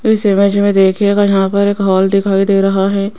इस इमेज में देखिएगा यहां पर एक हॉल दिखाई दे रहा है।